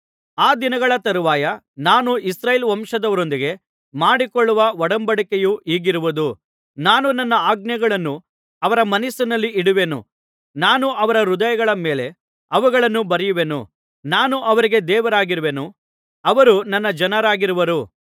ಆ ದಿನಗಳ ತರುವಾಯ ನಾನು ಇಸ್ರಾಯೇಲ್ ವಂಶದವರೊಂದಿಗೆ ಮಾಡಿಕೊಳ್ಳುವ ಒಡಂಬಡಿಕೆಯು ಹೀಗಿರುವುದು ನಾನು ನನ್ನ ಆಜ್ಞೆಗಳನ್ನು ಅವರ ಮನಸ್ಸಿನಲ್ಲಿ ಇಡುವೆನು ನಾನು ಅವರ ಹೃದಯಗಳ ಮೇಲೆ ಅವುಗಳನ್ನು ಬರೆಯುವೆನು ನಾನು ಅವರಿಗೆ ದೇವರಾಗಿರುವೆನು ಅವರು ನನ್ನ ಜನರಾಗಿರುವರು